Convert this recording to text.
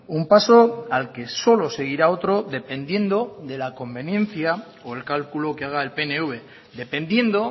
un paso al que solo seguirá otro dependiendo de la conveniencia o el calculo que haga el pnv dependiendo